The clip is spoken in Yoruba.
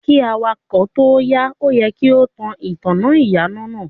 Kí awakọ̀ tóo yà, o yẹ kí o tan ìtanná ìyànà.